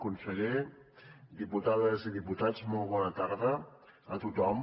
conseller diputades i diputats molt bona tarda a tothom